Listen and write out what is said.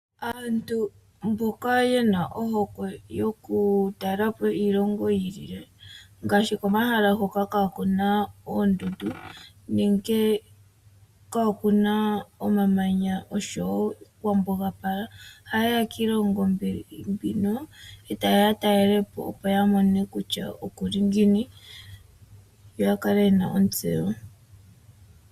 Aantu mboka yena ohokwe yoku talelapo iilongo yiilile ngaashi komahala hoka kaakuna oondundu nenge kaakuna omamanya oshowo kwambuga pala ohayeya yiilongo mbino etayeya yatalelepo opo yamone kutya okuli ngiini yoya kale yena ontseyo.